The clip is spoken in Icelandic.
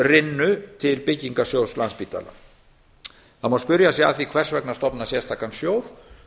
rynnu til byggingarsjóðs landspítala það má spyrja að því hvers vegna stofna sérstakan sjóð